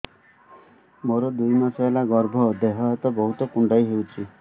ମୋର ଦୁଇ ମାସ ହେଲା ଗର୍ଭ ଦେହ ହାତ ବହୁତ କୁଣ୍ଡାଇ ହଉଚି